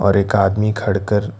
और एक आदमी खड़ कर--